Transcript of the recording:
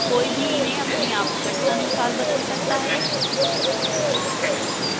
कोई भी इन्हें अपनी आवश्यकतानुसार बदल सकता है